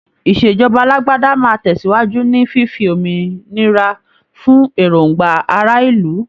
Ìṣèjọba alágbádá máa tẹ̀síwájú ní fífi òmìnira fún èròngbà ará ìlú.